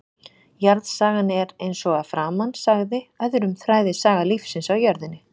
Jarðsagan er, eins og að framan sagði, öðrum þræði saga lífsins á jörðinni.